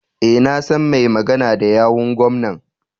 E, na san mai magana da yawun gwamnan.